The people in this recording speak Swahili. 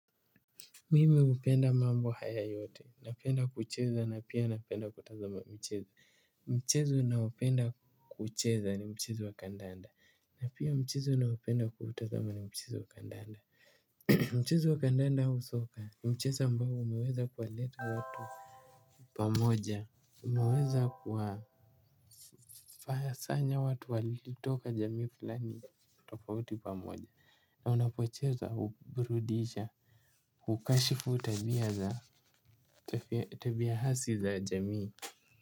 Mimi hupenda mambo haya yote napenda kucheza na pia napenda kutazama mchezo. Mchezo ninaopenda kucheza ni mchezo wa kandanda. Na pia mchezo ninaopenda kutazama ni mchezo wa kandanda. Mchezo wa kandanda au soka ni mchezo ambao umeweza kuwaleta watu. Pamoja umeweza kuwasanya watu waliotoka jamii fulani tofauti pamoja. Na unapocheza huburudisha hukashifu tabia za tabia hasi za jamii.